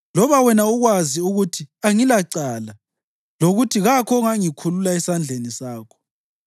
loba wena ukwazi ukuthi angilacala lokuthi kakho ongangikhulula esandleni sakho?